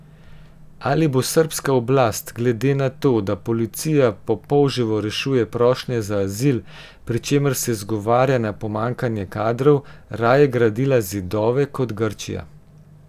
Ali bo srbska oblast, glede na to, da policija po polževo rešuje prošnje za azil, pri čemer se zgovarja na pomanjkanje kadrov, raje gradila zidove kot Grčija.